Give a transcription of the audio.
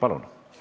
Palun!